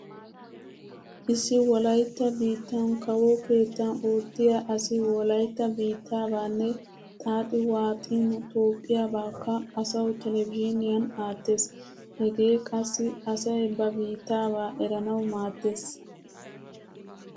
Issi wolaytta biittan kawo keettan oottiya asi wolaytta biittaabaanne xaaxi waaxin toophphiyabaakka asawu televizhiiniuan aattees. Hegee qassi asay ba biittaabaa eranawu maaddees.